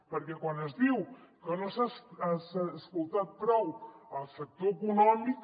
perquè quan es diu que no s’ha escoltat prou el sector econòmic